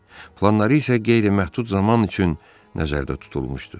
Planları isə qeyri-məhdud zaman üçün nəzərdə tutulmuşdu.